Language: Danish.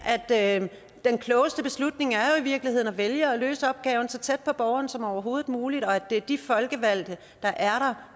at den klogeste beslutning jo i virkeligheden er at vælge at løse opgaven så tæt på borgeren som overhovedet muligt og at det er de folkevalgte der er